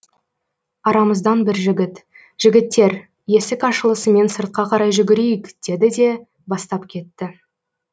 арамыздан бір жігіт жігіттер есік ашылысымен сыртқа қарай жүгірейік деді де бастап кетті